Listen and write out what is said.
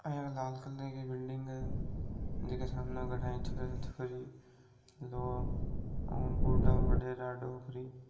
आ इया लाल कलर की बिल्डिंग है जकी के सामने बैठा है एक छोरा छोरी लोग भूड़ा बढ़ेरा डोकरी --